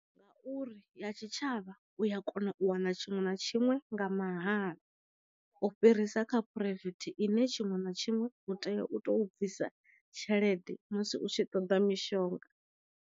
Ngauri ya tshi tshavha u ya kona u wana tshiṅwe na tshiṅwe nga mahala u fhirisa kha phuraivethe ine tshiṅwe na tshiṅwe u tea u to bvisa tshelede musi u tshi ṱoḓa mishonga.